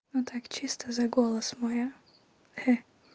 ну так чисто за голос мой а